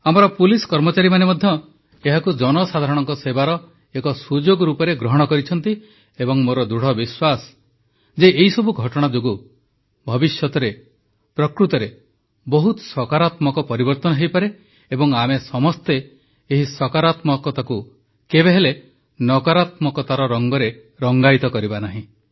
ଆମ ପୁଲିସ କର୍ମଚାରୀମାନେ ମଧ୍ୟ ଏହାକୁ ଜନସାଧାରଣଙ୍କ ସେବାର ଏକ ସୁଯୋଗ ରୂପେ ଗ୍ରହଣ କରିଛନ୍ତି ଏବଂ ମୋର ଦୃଢ଼ ବିଶ୍ୱାସ ଯେ ଏହିସବୁ ଘଟଣା ଯୋଗୁଁ ଭବିଷ୍ୟତରେ ପ୍ରକୃତରେ ବହୁତ ସକାରାତ୍ମକ ପରିବର୍ତ୍ତନ ହୋଇପାରେ ଏବଂ ଆମେ ସମସ୍ତେ ଏହି ସକାରାତ୍ମକତାକୁ କେବେହେଲେ ନକାରାତ୍ମକତାର ରଙ୍ଗରେ ରଙ୍ଗାୟିତ କରିବା ନାହିଁ